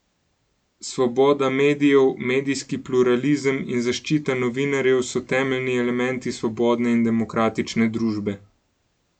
Svoboda medijev, medijski pluralizem in zaščita novinarjev so temeljni elementi svobodne in demokratične družbe.